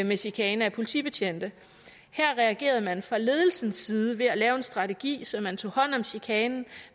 med chikane af politibetjente her reagerede man fra ledelsens side ved at lave en strategi så man tog hånd om chikanen og